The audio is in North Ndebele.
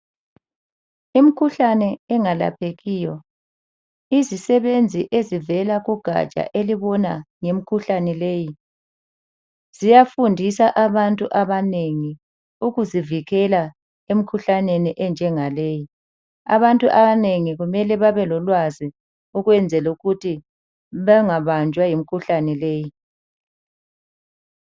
Imikhuhlane engalaphekiyo. Izisebenzi ezivela kugatsha elibona ngemkhuhlane leyi, ziyafundisa abantu abanengi ukuzivikela emkhuhlaneni enjengaleyi. Abantu abanengi kumele babelolwazi ukwenzelukuthi bengabanjwa yimikhuhlane leyi.